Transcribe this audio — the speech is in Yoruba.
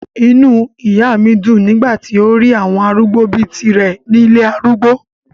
inú ìyá mi dùn nígbà tí ó rí àwọn arúgbó bíi tirẹ̀ ní ilé arúgbó